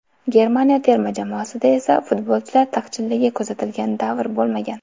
Germaniya terma jamoasida esa futbolchilar taqchilligi kuzatilgan davr bo‘lmagan.